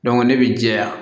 ne bɛ jɛya